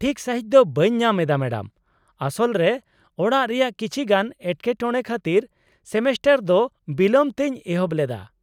ᱴᱷᱤᱠ ᱥᱟᱸᱦᱤᱡ ᱫᱚ ᱵᱟᱹᱧ ᱧᱟᱢ ᱮᱫᱟ ᱢᱮᱰᱟᱢ ᱾ ᱟᱥᱚᱞ ᱨᱮ ᱚᱲᱟᱜ ᱨᱮᱭᱟᱜ ᱠᱤᱪᱷᱤ ᱜᱟᱱ ᱮᱴᱠᱮᱴᱚᱬᱮ ᱠᱷᱟᱛᱤᱨ ᱥᱮᱢᱮᱥᱴᱟᱨ ᱫᱚ ᱵᱤᱞᱚᱢ ᱛᱮᱧ ᱮᱦᱚᱵ ᱞᱮᱫᱟ ᱾